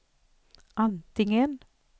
antingen